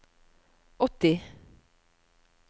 åtti